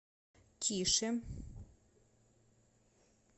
тише